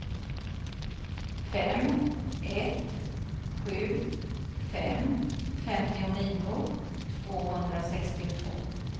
fem ett sju fem femtionio tvåhundrasextiotvå